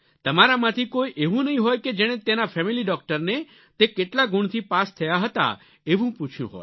તમારામાંથી કોઈ એવું નહીં હોય કે જેણે તેના ફેમિલી ડોક્ટરને તે કેટલા ગુણથી પાસ થયા હતા એવું પૂછ્યું હોય